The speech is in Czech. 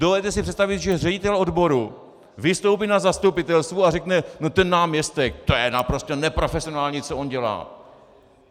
Dovedete si představit, že ředitel odboru vystoupí na zastupitelstvu a řekne: no ten náměstek, to je naprosto neprofesionální, co on dělá.